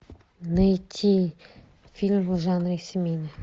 найти фильм в жанре семейный